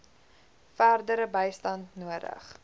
verdere bystand nodig